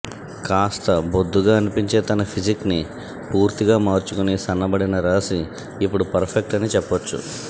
కాస్త బొద్దుగా అనిపించే తన ఫిజిక్ ని పూర్తిగా మార్చుకుని సన్నబడిన రాశి ఇప్పుడు పర్ఫెక్ట్ అని చెప్పొచ్చు